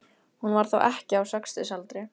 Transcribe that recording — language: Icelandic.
Hún var þá ekkja á sextugsaldri.